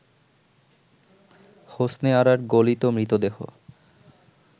হোসনে আরার গলিত মৃতদেহ